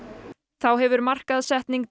þá hefur markaðssetning